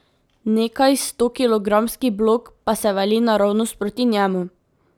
Nekajstokilogramski blok pa se vali naravnost proti njemu.